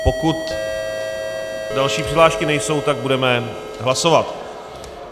Pokud další přihlášky nejsou, tak budeme hlasovat.